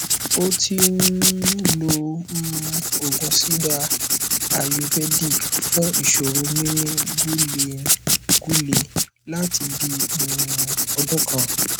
ó ti ń um lo um òògùn siddha ayurvedic fún ìṣòro mímí gúlengúle láti bí um i ọdún kan